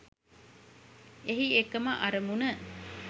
එහි එකම අරමුණ